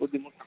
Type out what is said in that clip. ബുദ്ധിമുട്ട്